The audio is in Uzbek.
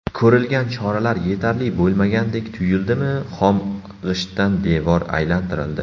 Ko‘rilgan choralar yetarli bo‘lmagandek tuyuldimi, xom g‘ishtdan devor aylantirildi.